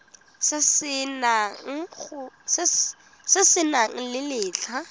se se nang le letlha